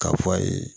K'a fɔ a ye